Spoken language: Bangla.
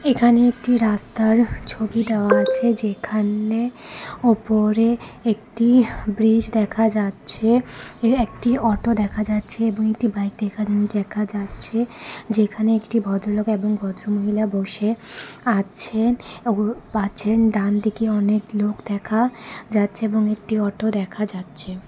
এখানে একটি রাস্তার ছবি দেওয়া আছে যেখানে ওপরে একটি ব্রিজ দেখা যাচ্ছে একটি অটো দেখা যাচ্ছে এবং একটি বাইক দেখা দেখা যাচ্ছে যেখানে একটি ভদ্রলোক এবং ভদ্রমহিলা বসে আছেন ডানদিকে অনেক লোক দেখা যাচ্ছে এবং একটি অটো দেখা যাচ্ছে।